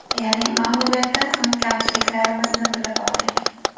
Ya’ni mag‘lubiyatdan so‘ng kamchiliklarimizni bilib oldik.